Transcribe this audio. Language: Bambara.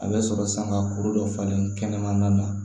A bɛ sɔrɔ sanga kuru dɔ falen kɛnɛmana na